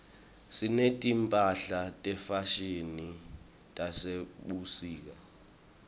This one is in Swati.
sineti mphahla tefashini tasebusika